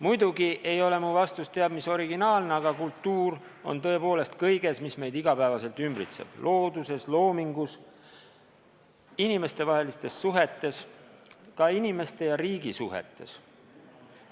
Muidugi ei ole mu vastus teab mis originaalne, aga kultuur on tõepoolest kõiges, mis meid igapäevaselt ümbritseb: looduses, loomingus, inimestevahelistes suhetes, ka inimeste ja riigi suhetes.